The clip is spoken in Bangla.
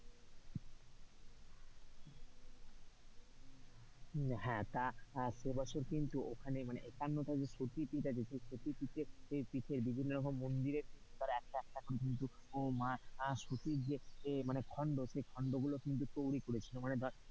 হ্যাঁ তা সেবছর কিন্তু ওখানে মানে একান্নটা যে সতীপীঠ আছে বিভিন্ন রকম মন্দিরের একটা একটা কিন্তু মা সতীর যে খন্ড সেই খন্ডগুলো কিন্তু তৈরি করেছিল।